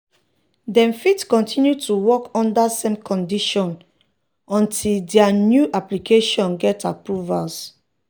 dem fit kontinu to work under same condition until dia new application get approvals.